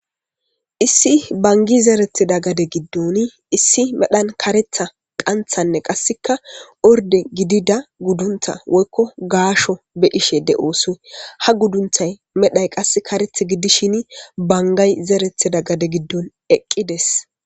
issi bangi zeretida gade giddon issi medhan karetha qanthanne qasseka orde gidida gudduntha woykko gaasho be ishe de7oosu ha guddunthay medhay qass kareth giddishin bangay zerethida gade giddon eqqides